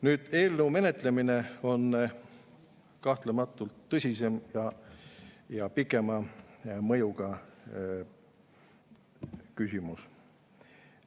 Nüüd, eelnõu menetlemine on kahtlematult tõsisem ja pikema mõjuga küsimus.